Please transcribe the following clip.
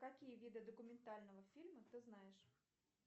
какие виды документального фильма ты знаешь